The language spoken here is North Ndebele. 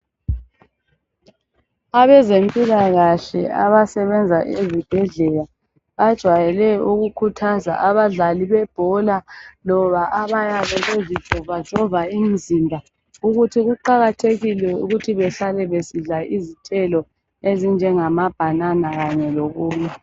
Abezempilakahle abasebenza ezibhedlela bajwayele ukukhuthaza abadlali bebhola labayabe bezitshovatshova imizimba ukuthi kuqakathekile ukuthi behlale besidla izithelo ezinjengama bhanana kanye lokunye.